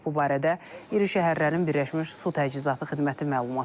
Bu barədə iri şəhərlərin Birləşmiş Su Təchizatı xidməti məlumat yayıb.